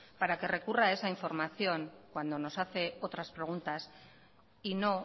para que recurra esa información cuando nos hace otras preguntas y no